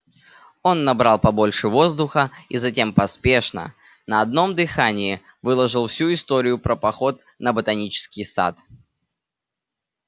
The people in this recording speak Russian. он набрал побольше воздуха и затем поспешно на одном дыхании выложил всю историю про поход на ботанический сад